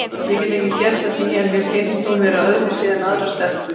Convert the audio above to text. Ég get ekki gert að því en mér finnst hún vera öðruvísi en aðrar stelpur.